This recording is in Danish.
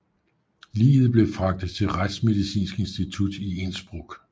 Liget blev fragtet til retsmedicinsk institut i Innsbruck